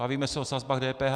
Bavíme se o sazbách DPH.